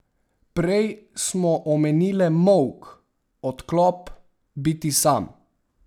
Prej smo omenile molk, odklop, biti sam ...